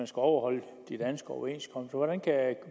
skal overholde de danske overenskomster hvordan kan